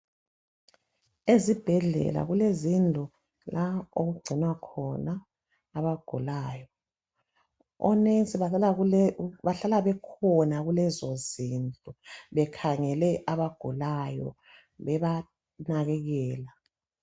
Ezibhedlela kulezindlu lapha okungcinwa khona abagulayo omongikazi bahlala bekhona kulezi zindlu bekhangele abagulayo bebanakekela